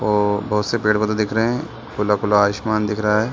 और बहोत से पेड़-पौधे दिख रहे खुला-खुला आसमान दिख रहा है।